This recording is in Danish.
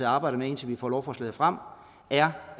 og arbejder med indtil vi får lovforslaget frem